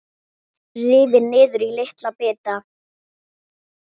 Rifin niður í litla bita.